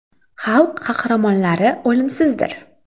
Xalq qahramonlari o‘limsizdir”.